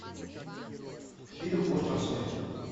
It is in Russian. фильм остров смерти